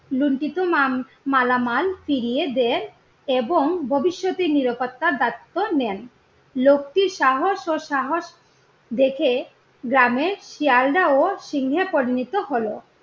লুণ্ঠিত মালামাল ফিরিয়ে দেন এবং ভবিষ্যতে নিরাপত্তার দায়িত্ব নেন। লোকটির সাহস ও সাহস দেখে গ্রামের শেয়ালরাও সিংহে পরিণত হলো।